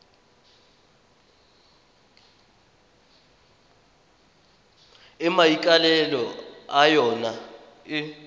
e maikaelelo a yona e